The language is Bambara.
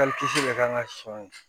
bɛ kan ka sɔn